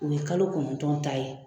O ye kalo kɔnɔntɔn ta ye.